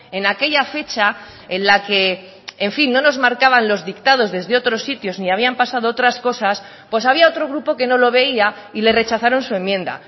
en aquella fecha en la que en fin no nos marcaban los dictados desde otros sitios ni habían pasado otras cosas pues había otro grupo que no lo veía y le rechazaron su enmienda